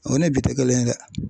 O ni bi tɛ kelen ye dɛ